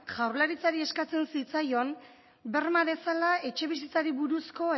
jaurlaritzari eskatzen zitzaion berma dezala etxebizitzari buruzko